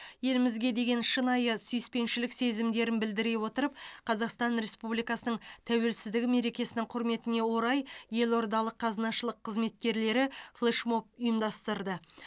елімізге деген шынайы сүйіспеншілік сезімдерін білдіре отырып қазақстан республикасының тәуелсіздігі мерекесінің құрметіне орай елордалық қазынашылық қызметкерлері флешмоб ұйымдастырды